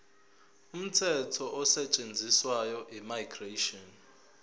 umthetho osetshenziswayo immigration